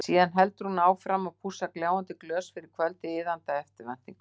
Síðan heldur hún áfram að pússa gljáandi glös fyrir kvöldið, iðandi af eftirvæntingu.